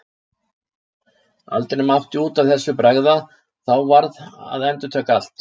Aldrei mátti út af þessu bregða, þá varð að endurtaka allt.